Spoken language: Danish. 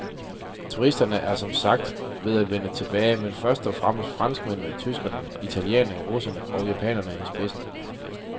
Turisterne er som sagt ved at vende tilbage med først og fremmest franskmændene, tyskerne, italienerne, russerne og japanerne i spidsen.